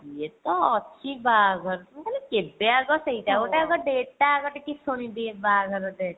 ଇଏ ତ ଅଛି ବାହାଘର ମୁ କହିଲି କେବେ ଆଗ ସେଇଟା ଗୋଟେ ଆଗ date ଟା ଟିକେ ଶୁଣିଦିଏ ବାହାଘର date